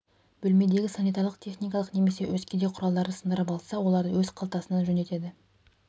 бөлмедегі санитарлық техникалық немесе өзге де құралдарды сындырып алса оларды өз қалтасынан жөндетеді